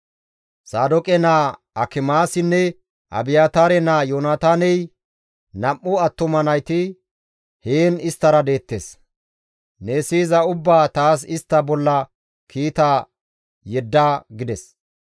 Saadooqe naa Akimaasinne Abiyaataare naa Yoonataaney nam7u attuma nayti heen isttara deettes. Ne siyiza ubbaa taas istta bolla kiita yedda» gides.